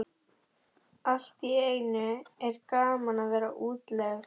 Allt í einu er gaman að vera í útlegð.